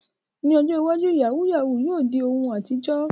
Ní ọjọ́ iwájú, yahoo yahoo yóò di ohun àtijọ́.